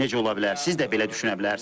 Siz də belə düşünə bilərsiniz.